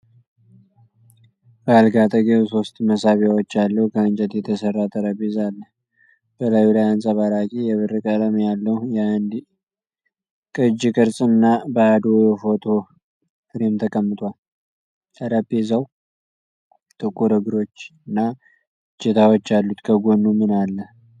በአልጋ አጠገብ ሶስት መሳቢያዎች ያለው ከእንጨት የተሠራ ጠረጴዛ አለ። በላዩ ላይ አንጸባራቂ የብር ቀለም ያለው የአንድ እጅ ቅርጽ እና ባዶ የፎቶ ፍሬም ተቀምጧል። ጠረጴዛው ጥቁር እግሮች እና እጀታዎች አሉት። ከጎኑ ምን አለ?